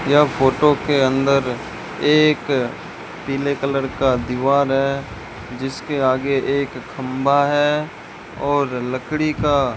यह फोटो के अंदर एक पीले कलर का दीवार है जिसके आगे एक खंभा है और लकड़ी का --